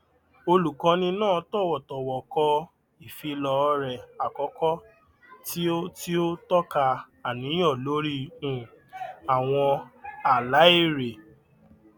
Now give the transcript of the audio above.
olùkọni náà tọwọtọwọ kọ ìfílọọrẹ àkọkọ tí ó tí ó tọka àníyàn lórí um àwọn àlá èrè